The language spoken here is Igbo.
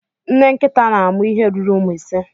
Nne nkịta na-amụ ihe ruru ụmụ ise